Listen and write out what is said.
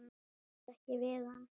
Ráða ekki við hann.